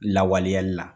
Lawaleyali la